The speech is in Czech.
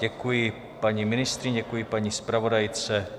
Děkuji paní ministryni, děkuji paní zpravodajce.